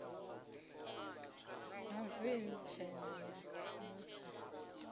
ha veni tshena ya mazda